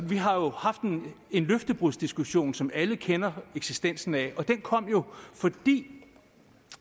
vi har jo haft en en løftebrudsdiskussion som alle kender eksistensen af den kom jo fordi